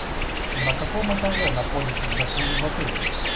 на каком этаже находится джакузи в отеле